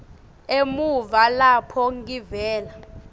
emuva lapho ngivela